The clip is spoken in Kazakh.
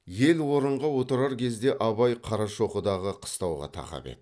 ел орынға отырар кезде абай қарашоқыдағы қыстауға тақап еді